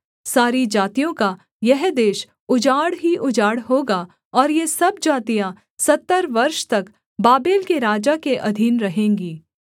सारी जातियों का यह देश उजाड़ ही उजाड़ होगा और ये सब जातियाँ सत्तर वर्ष तक बाबेल के राजा के अधीन रहेंगी